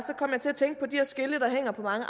skilte der hænger på mange